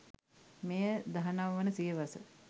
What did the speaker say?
මෙය දහනව වන සියවස